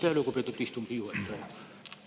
Aitäh, lugupeetud istungi juhataja!